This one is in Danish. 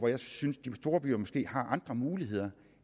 jeg synes storbyer måske har andre muligheder